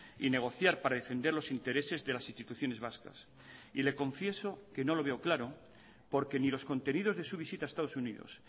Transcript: y negociar para defender los intereses de las instituciones vascas y le confieso que no lo veo claro porque ni los contenidos de su visita a estados unidos